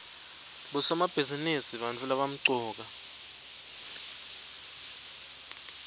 bosomabhizinisi bantfu labamcoka